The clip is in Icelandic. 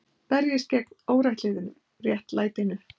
Berjist gegn óréttlætinu